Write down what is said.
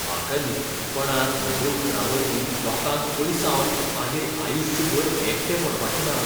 म्हाका निश्चीतपणान म्हज्या उतरांवरवीं लोकांक पयसावन मागीर आयुश्यभर एकटें पडपाचें ना .